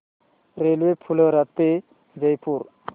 railway Phulera ते जयपूर